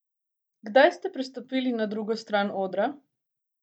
Kdaj ste prestopili na drugo stran odra?